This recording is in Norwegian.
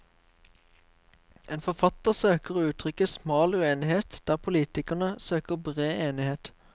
En forfatter søker å uttrykke smal uenighet der politikerne søker bred enighet.